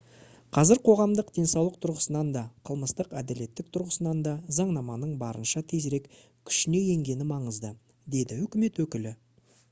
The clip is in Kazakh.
қазір қоғамдық денсаулық тұрғысынан да қылмыстық әділеттілік тұрғысынан да заңнаманың барынша тезірек күшіне енгені маңызды - деді үкімет өкілі